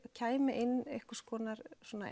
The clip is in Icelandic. kæmi inn einhvers konar